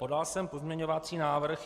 Podal jsem pozměňovací návrh.